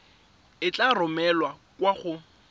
e tla romelwa kwa go